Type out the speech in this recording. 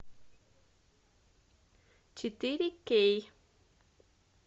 четыре кей